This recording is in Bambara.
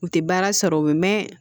U tɛ baara sɔrɔ u bɛ mɛɛn